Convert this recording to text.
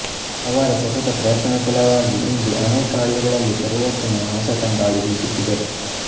ಅವರ ಸತತ ಪ್ರಯತ್ನದ ಫಲವಾಗಿ ಇಂದು ಅನೇಕ ಹಳ್ಳಿಗಳಲ್ಲಿ ಪರಿವರ್ತನೆಯ ಹೊಸ ತಂಗಾಳಿ ಬೀಸುತ್ತಿದೆ